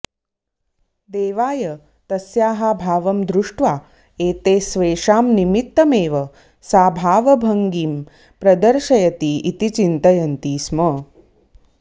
देवाय तस्याः भावं दृष्ट्वा एते स्वेषां निमित्तमेव सा भावभङ्गिं प्रदर्शयति इति चिन्तयन्ति स्म